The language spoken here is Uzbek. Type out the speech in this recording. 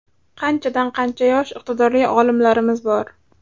Qanchadan-qancha yosh iqtidorli olimlarimiz bor.